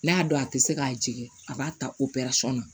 N'a dɔn a tɛ se k'a jigin a b'a ta o perasɔn na